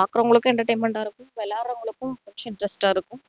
பாக்குறவங்களுக்கும் entertainment ஆ இருக்கும் விளையாடுறவங்களுக்கும் interest ஆ இருக்கும்